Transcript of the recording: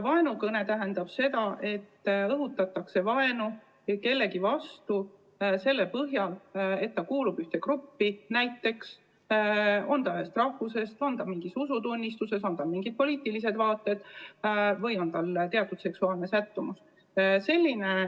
Vaenukõne tähendab seda, et õhutatakse vaenu kellegi vastu selle põhjal, et ta kuulub ühte gruppi, näiteks on ta teatud rahvusest, järgib teatud usutunnistust, omab teatud poliitilisi vaateid või on tal teatud seksuaalne sättumus.